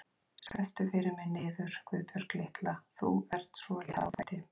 Skrepptu fyrir mig niður, Guðbjörg litla, þú ert svo létt á fæti.